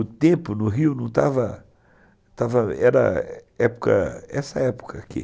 O tempo no Rio não estava estava... Era época, essa época aqui.